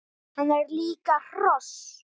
Hann er líka hross!